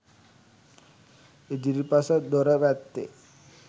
ඉදිරිපස දොර පැත්තේ